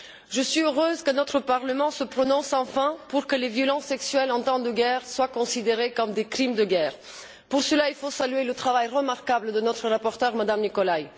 Je suis heureuse que notre Parlement se prononce enfin pour que les violences sexuelles en temps de guerre soient considérées comme des crimes de guerre. Pour cela, il faut saluer le travail remarquable de notre rapporteure, M me Nicolai.